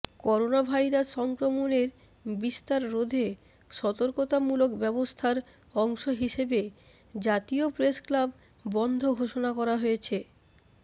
coronavirus সংক্রমণের বিস্তার রোধে সতর্কতামূলক ব্যবস্থার অংশ হিসেবে জাতীয় প্রেস ক্লাব বন্ধ ঘোষণা করা হয়েছে